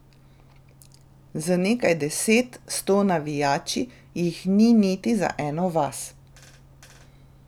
Z nekaj deset, sto navijači jih ni niti za eno vas.